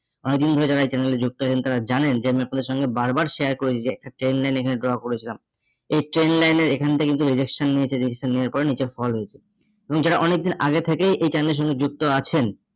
অনেকদিন ধরে যারা এই channel এ যুক্ত আছেন তাঁরা জানেন যে আমি আপনাদের সঙ্গে বারবার share করেছি যে একটা train line এখানে draw করেছিলাম, এই train line এর এখানটা কিন্তু rejection নিয়েছে rejection নেওয়ার পরে নিচে fall হয়েছে এবং যারা অনেকদিন আগে থেকেই এই channel এর সঙ্গে যুক্ত আছেন